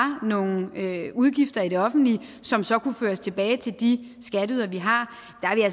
nogle penge til udgifter i det offentlige som så kunne føres tilbage til de skatteydere vi har